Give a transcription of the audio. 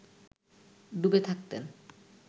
ডুবে থাকতেন